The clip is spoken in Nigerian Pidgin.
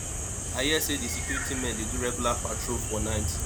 i hear say the security men dey do regular patrol for night